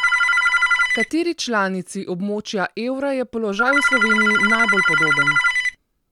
Kateri članici območja evra je položaj v Sloveniji najbolj podoben?